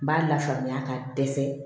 N b'a la faamuya ka dɛsɛ